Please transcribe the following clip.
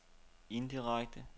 indirekte